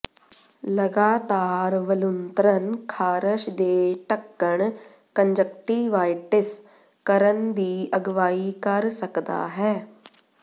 ਲਗਾਤਾਰ ਵਲੂੰਧਰਨ ਖਾਰਸ਼ ਦੇ ਢੱਕਣ ਕੰਨਜਕਟਿਵਾਇਟਿਸ ਕਰਨ ਦੀ ਅਗਵਾਈ ਕਰ ਸਕਦਾ ਹੈ